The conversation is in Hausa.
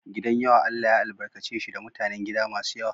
Gidan yawa Allah ya albarkace shi da mutanen gida masu yawa.